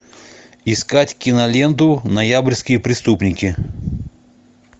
искать киноленту ноябрьские преступники